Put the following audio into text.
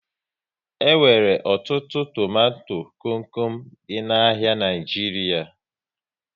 E nwere ọtụtụ tomato kom kom dị n'ahia Naijiria